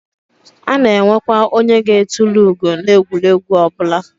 A na enwekwa onye ga etulu ugo na egwuregwu obula